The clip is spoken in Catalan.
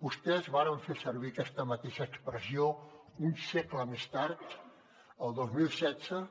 vostès varen fer servir aquesta mateixa expressió un segle més tard el dos mil setze